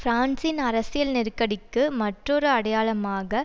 பிரான்சின் அரசியல் நெருக்கடிக்கு மற்றொரு அடையாளமாக